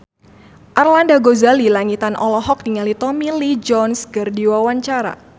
Arlanda Ghazali Langitan olohok ningali Tommy Lee Jones keur diwawancara